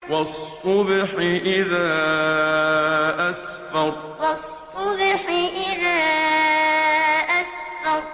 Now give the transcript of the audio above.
وَالصُّبْحِ إِذَا أَسْفَرَ وَالصُّبْحِ إِذَا أَسْفَرَ